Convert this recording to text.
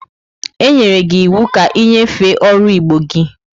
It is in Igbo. Enyere gi iwu ka inyefe oru igbo gi!